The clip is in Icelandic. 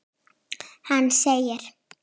Hann segir